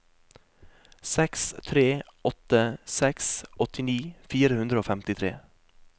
seks tre åtte seks åttini fire hundre og femtitre